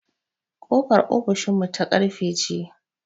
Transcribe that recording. Ƙofar ofishin mu ta ƙarfe ce